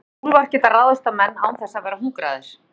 úlfar geta ráðist á menn án þess að vera hungraðir